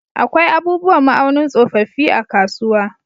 Akwai abubuwan ma'aunin tsofaffi a kasuwa.